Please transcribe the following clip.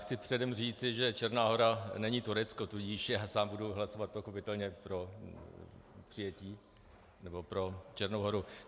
Chci předem říci, že Černá Hora není Turecko, tudíž já sám budu hlasovat pochopitelně pro přijetí, nebo pro Černou Horu.